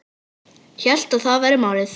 Hélt að það væri málið.